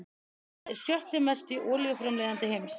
Landið er sjötti mesti olíuframleiðandi heims